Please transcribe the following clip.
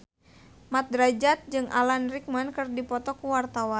Mat Drajat jeung Alan Rickman keur dipoto ku wartawan